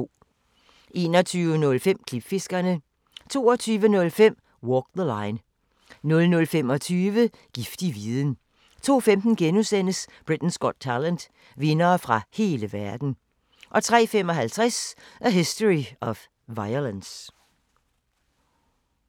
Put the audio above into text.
21:05: Klipfiskerne 22:05: Walk the Line 00:25: Giftig viden 02:15: Britain’s Got Talent - vindere fra hele verden * 03:55: A History of Violence